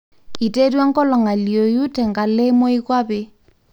iterua enkolong alioyu tenkalo e moikwape.